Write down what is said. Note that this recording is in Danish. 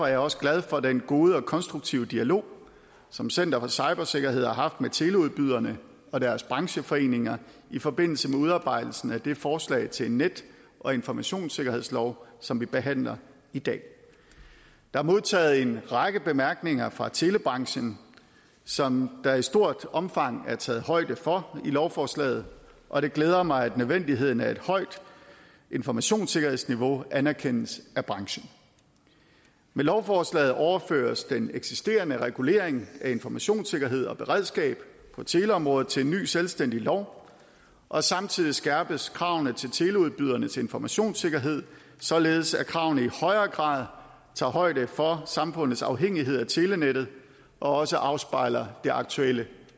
jeg også glad for den gode og konstruktive dialog som center for cybersikkerhed har haft med teleudbyderne og deres brancheforeninger i forbindelse med udarbejdelse af det forslag til en net og informationssikkerhedslov som vi behandler i dag der er modtaget en række bemærkninger fra telebranchen som der i stort omfang er taget højde for i lovforslaget og det glæder mig at nødvendigheden af et højt informationssikkerhedsniveau anerkendes af branchen med lovforslaget overføres den eksisterende regulering af informationssikkerhed og beredskab på teleområdet til en ny selvstændig lov og samtidig skærpes kravene til teleudbydernes informationssikkerhed således at kravene i højere grad tager højde for samfundets afhængighed af telenettet og også afspejler det aktuelle